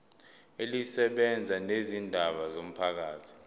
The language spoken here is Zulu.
elisebenza ngezindaba zomphakathi